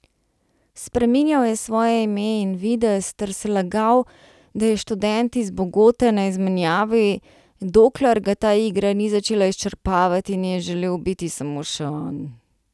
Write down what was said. Spreminjal je svoje ime in videz ter se lagal, da je študent iz Bogote na izmenjavi, dokler ga ta igra ni začela izčrpavati in je želel biti samo še on.